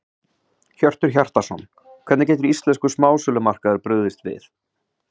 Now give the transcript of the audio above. Hjörtur Hjartarson: Hvernig getur íslenskur smásölumarkaður brugðist við?